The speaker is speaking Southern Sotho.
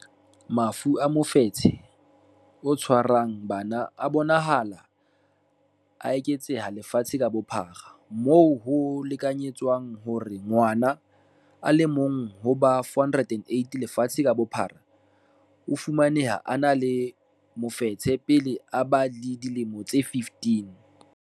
Mafu a mofetshe o tshwarang bana a bonahala a eketseha lefatsheng ka bophara, moo ho lekanyetswang hore ngwana a le mong ho ba 408 lefatsheng ka bophara o fumaneha a ena le mofetshe pele a ba le dilemo tse 15.